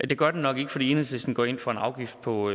det gør den nok ikke fordi enhedslisten går ind for en afgift på